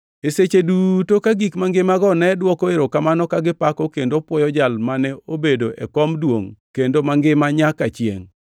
E seche duto ka gik mangimago nedwoko erokamano ka gipako kendo puoyo Jal mane obedo e kom duongʼ kendo mangima nyaka chiengʼ;